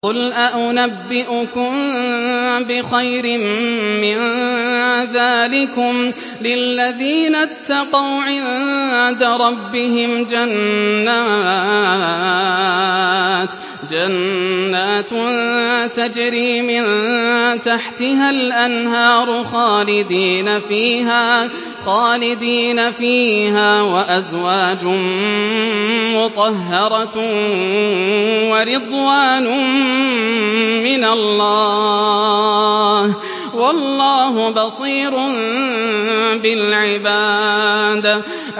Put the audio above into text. ۞ قُلْ أَؤُنَبِّئُكُم بِخَيْرٍ مِّن ذَٰلِكُمْ ۚ لِلَّذِينَ اتَّقَوْا عِندَ رَبِّهِمْ جَنَّاتٌ تَجْرِي مِن تَحْتِهَا الْأَنْهَارُ خَالِدِينَ فِيهَا وَأَزْوَاجٌ مُّطَهَّرَةٌ وَرِضْوَانٌ مِّنَ اللَّهِ ۗ وَاللَّهُ بَصِيرٌ بِالْعِبَادِ